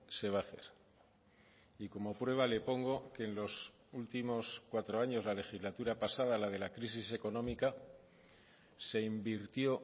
se va a hacer y como prueba le pongo que en los últimos cuatro años la legislatura pasada la de la crisis económica se invirtió